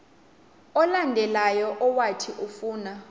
olandelayo owathi ufuna